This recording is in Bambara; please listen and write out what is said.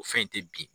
O fɛn te bi